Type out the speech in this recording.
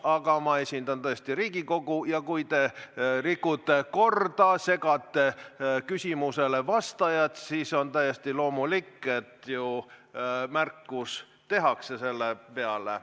Aga ma esindan tõesti Riigikogu ja kui te rikute korda ja segate küsimusele vastajat, siis on täiesti loomulik, et selle peale tehakse märkus.